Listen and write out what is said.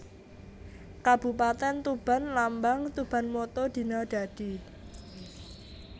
Kabupatèn TubanLambang TubanMotto Dina Dadi